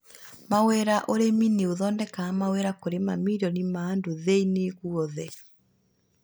Mawĩra: ũrĩmi nĩ ũthondekaga mawĩra kũrĩ mamirioni ma andũ thĩ-inĩ guothe